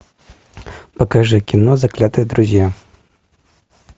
покажи кино заклятые друзья